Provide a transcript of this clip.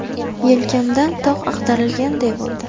Yelkamdan tog‘ ag‘darilganday bo‘ldi.